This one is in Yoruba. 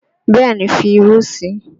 Bẹ́ẹ̀ ni, fi irú sí i